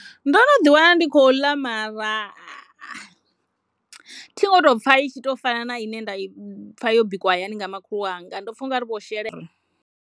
Ndo no ḓi wana ndi khou ḽa mara thi ngo to pfha i tshi to fana na ine nda i pfha yo bikiwa hayani nga makhulu wanga ndo pfha ungari vho shela.